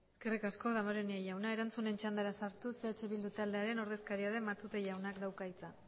eskerrik asko damborenea jauna erantzunen txandara sartuz eh bildu taldearen ordezkaria den matute jaunak dauka hitza